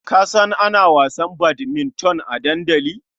Ka san ana wasan badminton a dandali?